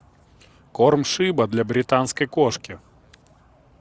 корм шиба для британской кошки